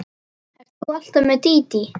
Ert þú alltaf með Dídí?